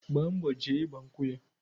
Gba mbo jee igba nkwụ ya.